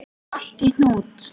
Er allt í hnút?